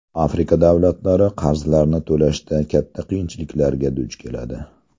Afrika davlatlari qarzlarni to‘lashda katta qiyinchiliklarga duch keladi.